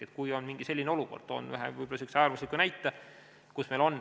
Toon võib-olla äärmusliku näite.